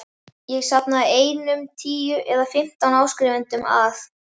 Ég safnaði einum tíu eða fimmtán áskrifendum að